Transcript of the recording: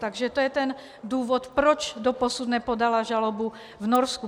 Takže to je ten důvod, proč doposud nepodala žalobu v Norsku.